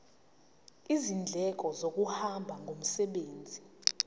izindleko zokuhamba ngomsebenzi